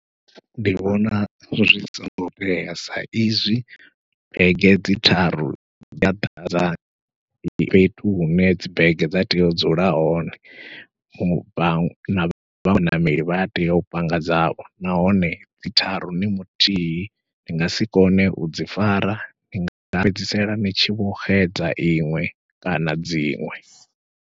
Ndi vhona zwi songo tea sa izwi bege dzi tharu dza ḓadza fhethu hune dzi bege dza tea u dzula hone, na vha na vhaṅwe ṋameli vha tea u panga dzavho nahone dzi tharu ni muthihi ndi nga si kone udzi fara ni nga fhedzisela ni tshi vho xedza iṅwe kana dziṅwe.